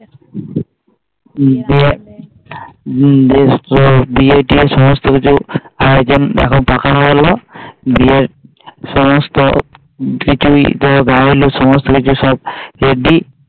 হম বিয়ে বিয়ের বিয়ে টিয়ের সমস্ত কিছু আয়োজন এখন পাকা হয় গেল বিয়ের সমস্ত কিছুই সব হেব্বি